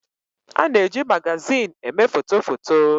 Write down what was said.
A na-eji magazin eme foto foto.